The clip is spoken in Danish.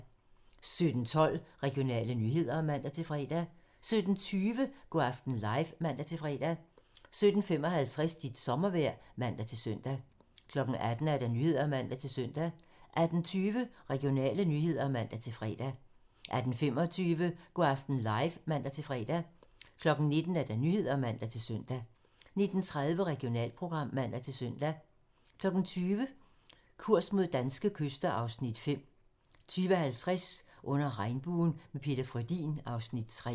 17:12: Regionale nyheder (man-fre) 17:20: Go' aften live (man-fre) 17:55: Dit sommervejr (man-søn) 18:00: Nyhederne (man-søn) 18:20: Regionale nyheder (man-fre) 18:25: Go' aften live (man-fre) 19:00: Nyhederne (man-søn) 19:30: Regionalprogram (man-søn) 20:00: Kurs mod danske kyster (Afs. 5) 20:50: Under regnbuen - med Peter Frödin (Afs. 3)